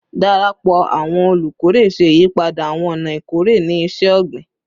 Darapọ awọn olukore ṣe iyipada awọn ọna ikore ni iṣẹ-ogbin